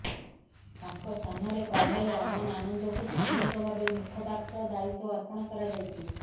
ତାଙ୍କ ସ୍ଥାନରେ କର୍ଣ୍ଣେଲ ଅମନ ଆନନ୍ଦଙ୍କୁ ସାମୟିକ ଭାବେ ମୁଖପାତ୍ର ଦାୟିତ୍ୱ ଅର୍ପଣ କରାଯାଇଛି